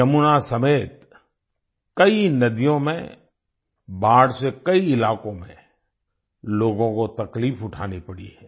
यमुना समेत कई नदियों में बाढ़ से कई इलाकों में लोगों को तकलीफ उठानी पड़ी है